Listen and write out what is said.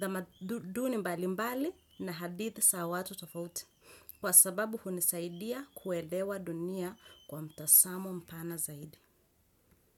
tamaduduni mbali mbali na hadithi za watu tofauti. Kwa sababu hunisaidia kuelewa dunia kwa mtazamo mpana zaidi.